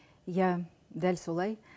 иә дәл солай